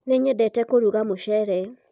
nĩnyendete kũrũga mushele